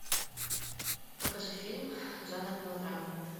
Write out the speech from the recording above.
покажи фильм жанр мелодрама